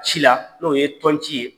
Ci la, n'o ye tɔnci ye.